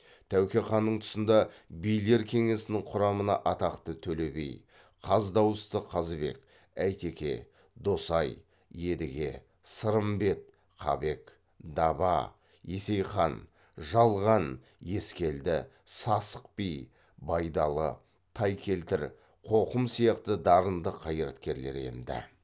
тәуке ханның тұсында билер кеңесінің құрамына атақты төле би қаз дауысты қазыбек әйтеке досай едіге сырымбет қабек даба есейхан жалған ескелді сасық би байдалы тайкелтір қоқым сияқты дарынды қайраткерлер енді